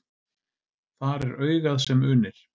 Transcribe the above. Þar er augað sem unir.